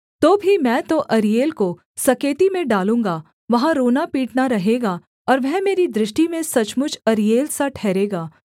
तो भी मैं तो अरीएल को सकेती में डालूँगा वहाँ रोना पीटना रहेगा और वह मेरी दृष्टि में सचमुच अरीएल सा ठहरेगा